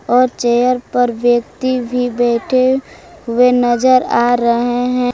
और चेयर पे व्यक्ति भी बैठे नजर आ रहे हैं।